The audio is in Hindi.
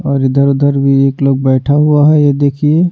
और इधर-उधर भी एक लोग बैठा हुआ है ये देखिए--